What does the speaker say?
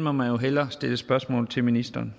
må man jo hellere stille spørgsmål om til ministeren